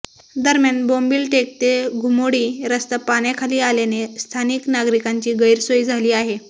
दरम्यान बोंबिलटेक ते धुमोडी रस्ता पाण्याखाली आल्याने स्थानिक नागरिकांची गैरसोय झाली आहे